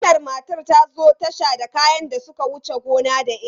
Wannan matar ta zo tasha da kayan da suka wuce gona da iri.